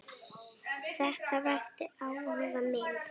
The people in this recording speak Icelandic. Þetta vakti áhuga minn.